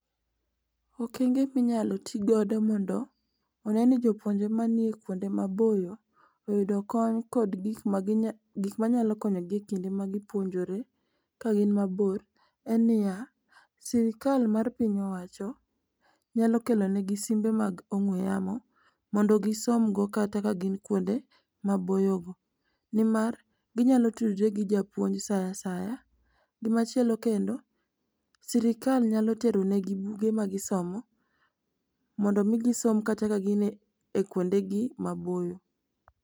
Okenge minyalo tigodo mondo one ni jopuonjre mani kuonde maboyo oyudo kony kod gik manyalo konyogi e kinde ma gi puonjore kagin mabor en ni ya, sirikal mar piny owacho nyalo kelonigi simbe mag ong'we yamo mondo gisomgo kata ka gin kuonde maboyogo, nimar ginyalo tudre gi japuonj sa asaya. Gimachielo kendo, sirikal nyalo teronegi buge magisomo mondo omi gisom kata kagin e kuondegi maboyo.